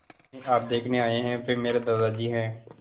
जिन्हें आप देखने आए हैं वे मेरे दादाजी हैं